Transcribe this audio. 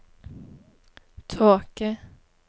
tåke